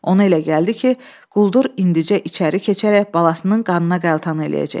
Ona elə gəldi ki, quldur indicə içəri keçərək balasının qanına qəltan eləyəcək.